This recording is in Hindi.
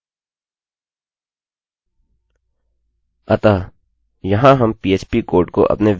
अतः यहाँ हम पीएचपीphpकोड को अपने वेल्यूमानके भीतर उपयोग कर रहे हैं